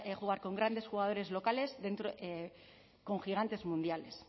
jugar con grandes jugadores locales con gigantes mundiales